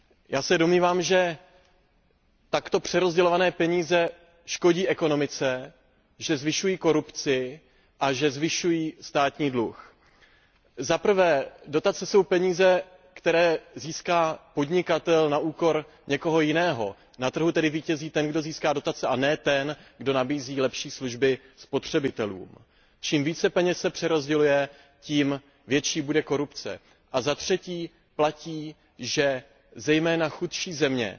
Já se domnívám, že takto přerozdělované peníze škodí ekonomice, že zvyšují korupci a že zvyšují státní dluh. Za prvé, dotace jsou peníze, které získá podnikatel na úkor někoho jiného. Na trhu tedy vítězí ten, kdo získá dotace, a ne ten, kdo nabízí lepší služby spotřebitelům. Čím více peněz se přerozděluje, tím větší bude korupce. A za třetí, platí, že zejména chudší země